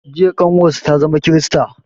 Jiya ƙanwar sa ta zama krista